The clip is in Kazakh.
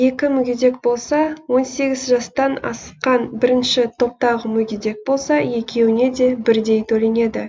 екі мүгедек болса он сегіз жастан асқан бірінші топтағы мүгедек болса екеуіне де бірдей төленеді